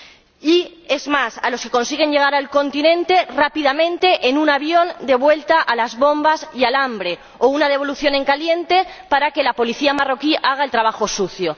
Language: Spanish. Y, es más, a los que consiguen llegar al continente, rápidamente, en un avión de vuelta a las bombas y al hambre, o una devolución en caliente para que la policía marroquí haga el trabajo sucio.